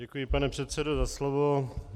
Děkuji, pane předsedo, za slovo.